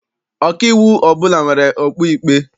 Ọkaiwu ọbụla nwere okpu ikpe.